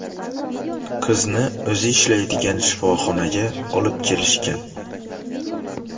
Qizni o‘zi ishlaydigan shifoxonaga olib kelishgan.